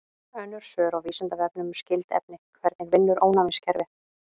Önnur svör á Vísindavefnum um skyld efni: Hvernig vinnur ónæmiskerfið?